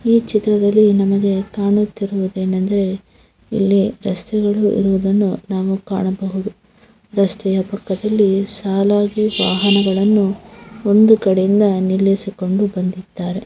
ಈ ಚಿತ್ರದಲ್ಲಿ ನಮಗೆ ಕಾಣುತ್ತಿರುವುದು ಏನು ಎಂದರೆ ಇಲ್ಲಿ ರಸ್ತೆಗಳು ಇರುವುದನ್ನು ನಾವು ಕಾಣಬಹುದು ರಸ್ತೆಯ ಪಕ್ಕದಲ್ಲಿ ಸಾಲಾಗಿ ವಾಹನಗಳನ್ನು ಒಂದು ಕಡೆಯಿಂದ ನಿಲ್ಲಿಸಿಕೊಂಡು ಬಂದಿದ್ದಾರೆ .